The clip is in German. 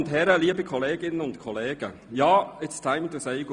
Liebe Kolleginnen und Kollegen, ja, auch für mich heisst es nun,